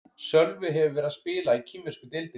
Sölvi hefur verið að spila í kínversku deildinni.